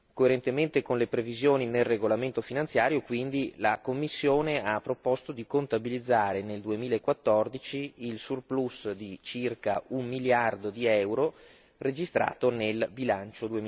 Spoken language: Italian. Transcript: Coerentemente con le previsioni nel regolamento finanziario, quindi la Commissione ha proposto di contabilizzare nel 2014, il surplus di circa un miliardo di euro registrato nel bilancio